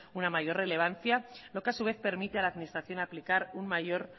una mayor relevancia lo que a su vez permite a la administración aplicar un mayor